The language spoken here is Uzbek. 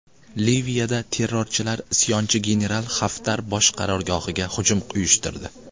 Liviyada terrorchilar isyonchi general Xaftar bosh qarorgohiga hujum uyushtirdi.